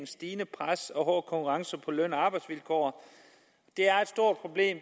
stigende pres og hård konkurrence på løn og arbejdsvilkår